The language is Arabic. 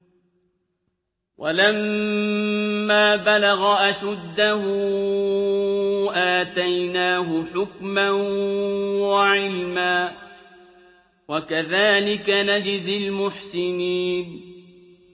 وَلَمَّا بَلَغَ أَشُدَّهُ آتَيْنَاهُ حُكْمًا وَعِلْمًا ۚ وَكَذَٰلِكَ نَجْزِي الْمُحْسِنِينَ